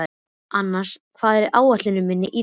Annas, hvað er á áætluninni minni í dag?